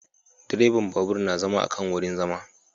Direban babur na zama akan wurin zama